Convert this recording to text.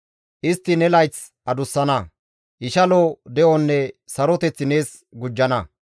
Istti ne layth adussana; ishalo de7onne saroteth nees gujjana.